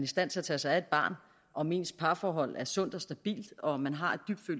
stand til at tage sig af et barn om ens parforhold er sundt og stabilt og om man har et